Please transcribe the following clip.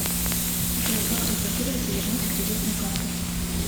джой как разблокировать и вернуть кредитную карту